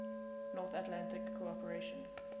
north atlantic cooperation